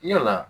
Yala